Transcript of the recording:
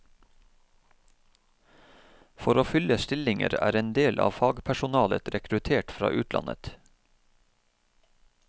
For å fylle stillinger er endel av fagpersonalet rekruttert fra utlandet.